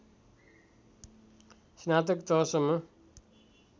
स्नातक तहसम्म